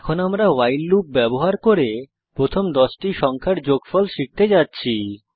এখন আমরা while loop ব্যবহার করে প্রথম 10টি সংখ্যার যোগফল শিখতে যাচ্ছি